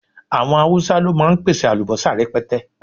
Àwọn Haúsá ló máa ń pèsè àlùbọ́sà rẹpẹtẹ